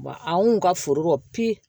Wa anw kun ka foro kɔ